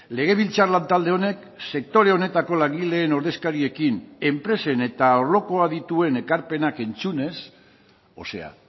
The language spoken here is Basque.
legebiltzar lan talde honek sektore honetako langileen ordezkariekin enpresen eta arloko adituen ekarpenak entzunez o sea